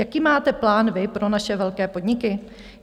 Jaký máte plán vy pro naše velké podniky?